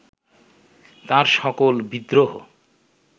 তাঁর সকল বিদ্রোহ